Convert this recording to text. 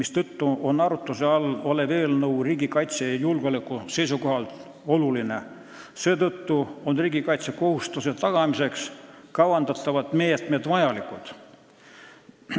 Seetõttu on arutuse all olev eelnõu riigikaitse ja julgeoleku seisukohalt oluline ning riigikaitsekohustuse tagamiseks kavandatavad meetmed vajalikud.